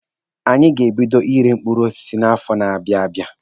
Anyị ga-ebido ire mkpụrụ osisi n'afọ na-abịa abịa.